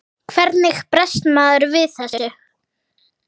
Hvernig bregst maður við þessu?